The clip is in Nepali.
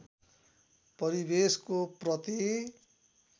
परिवेशको प्रति